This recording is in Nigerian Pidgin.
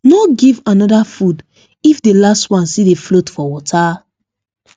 no give another food if the last one still dey float for water